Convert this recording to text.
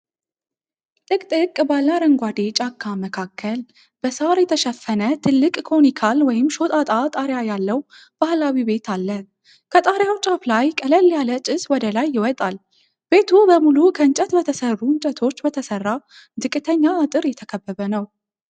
ጥቅጥቅ ባለ አረንጓዴ ጫካ መካከል በሳር የተሸፈነ ትልቅ ኮኒካል (ሾጣጣ) ጣሪያ ያለው ባህላዊ ቤት አለ። ከጣሪያው ጫፍ ላይ ቀለል ያለ ጭስ ወደ ላይ ይወጣል። ቤቱ በሙሉ ከእንጨት በተሠሩ እንጨቶች በተሰራ ዝቅተኛ አጥር የተከበበ ነው።